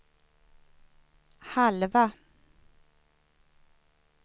halva